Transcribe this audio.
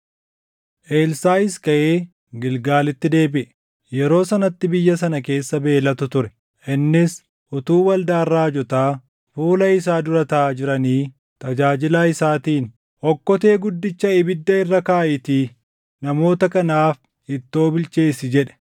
Elsaaʼis kaʼee Gilgaalitti deebiʼe; yeroo sanatti biyya sana keessa beelatu ture. Innis utuu waldaan raajotaa fuula isaa dura taaʼaa jiranii tajaajilaa isaatiin, “Okkotee guddicha ibiddaa irra kaaʼiitii namoota kanaaf ittoo bilcheessi” jedhe.